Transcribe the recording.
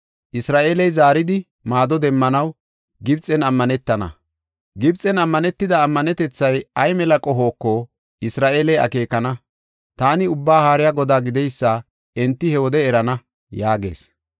Isra7eeley zaaridi maado demmanaw Gibxen ammanetena; Gibxen ammanetida ammanetethay ay mela qohoko Isra7eeley akeekana. Taani Ubbaa Haariya Godaa gideysa enti he wode erana” yaagees.